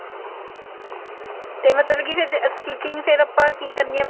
ਤੇ ਮਤਲਬ ਫ਼ੇਰ ਜੇ stitching ਫ਼ੇਰ ਆਪਾਂ ਕੀ ਕਰਨੀ ਹੈ